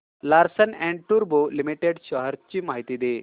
Larsen and टुर्बो limited shares ची माहिती दे